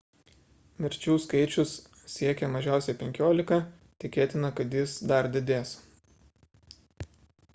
mirčių skaičius siekia mažiausiai 15 tikėtina kad jis dar didės